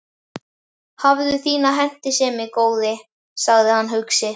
Hafðu þína hentisemi, góði, sagði hann hugsi.